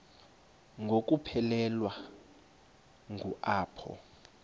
ngokuphelekwa ngu apho